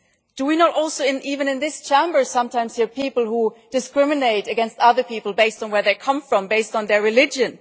Do we not also even in this Chamber sometimes hear people who discriminate against other people based on where they come from and based on their religion?